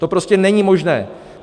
To prostě není možné!